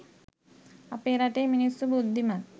අපේ රටේ මිනිස්සු බුද්ධිමත්